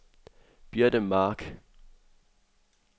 Birte Mark